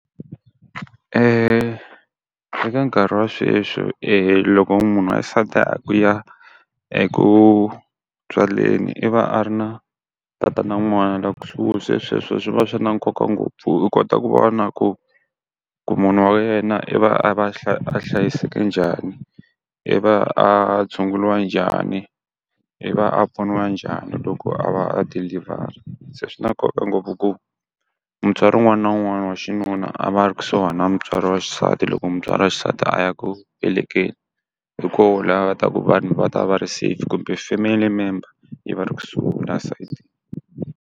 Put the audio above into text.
eka nkarhi wa sweswi loko munhu wa xisati a ku u ya eku tswaleni i va a ri na tatana wa n'wana la kusuhani, se sweswo swi va swi na nkoka ngopfu u kota ku vona ku, ku munhu wa wena i va a va a hlayisekile njhani, i va a tshunguriwa njhani, i va a pfuniwa njhani loko a va a deliver-a. Se swi na nkoka ngopfu ku mutswari wun'wana na wun'wana wa xinuna a va a ri kusuhani na mutswari wa xisati loko mutswari wa xisati a ya ku velekeni. Hi kona laha va ta ku vanhu va ta va ri safe kumbe family member yi va ri kusuhi na nsati.